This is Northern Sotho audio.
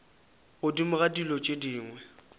godimo ga dilo tše dingwe